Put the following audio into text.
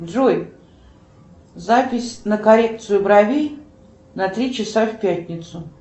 джой запись на коррекцию бровей на три часа в пятницу